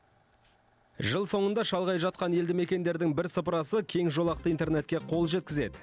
жыл соңында шалғай жатқан елді мекендердің бірсыпырасы кеңжолақты интернетке қол жеткізеді